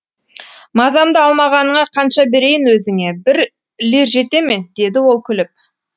мазамды алмағаныңа қанша берейін өзіңе бір лир жете ме деді ол күліп